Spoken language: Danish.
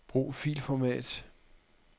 Brug filformat.